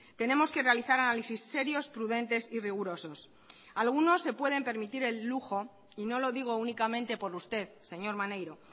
tenemos que realizar análisis serios prudentes y rigurosos algunos se pueden permitir el lujo y no lo digo únicamente por usted señor maneiro